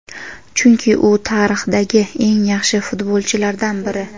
chunki u tarixdagi eng yaxshi futbolchilardan biri.